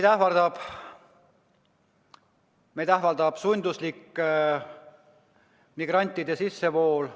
Meid ähvardab sunduslik migrantide sissevool.